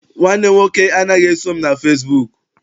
Nwanne m nwoke anaghị eso m na fesibuuku.